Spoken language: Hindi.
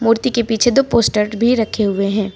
मूर्ति के पीछे दो पोस्टर भी रखे हुए है।